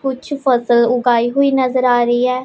कुछ फसल उगाई हुई नजर आ रही हैं।